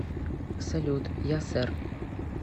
салют я сэр